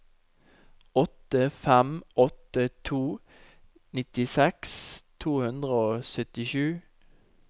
åtte fem åtte to nittiseks to hundre og syttisju